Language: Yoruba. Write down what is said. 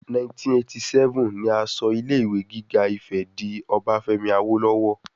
1987 ni a sọ ilé ìwé gíga Ifè di ti Obafemi Awolowo